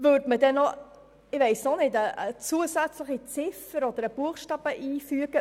Würde eine zusätzliche Ziffer oder ein Buchstaben eingefügt?